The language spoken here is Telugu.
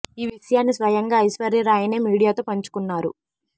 ఈ విషయాన్ని స్వయంగా ఐశ్వర్య రాయ్ నే మీడియాతో పంచుకున్నారు